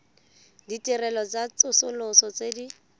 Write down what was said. ditirelo tsa tsosoloso tse di